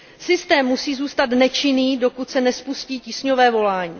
Systém musí zůstat nečinný, dokud se nespustí tísňové volání.